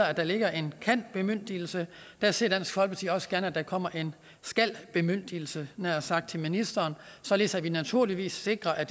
at der ligger en kan bemyndigelse der ser dansk folkeparti også gerne at der kommer en skal bemyndigelse havde nær sagt til ministeren således at vi naturligvis sikrer at